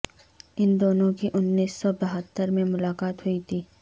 ان دونوں کی انیس سو بہتر میں ملاقات ہوئی تھے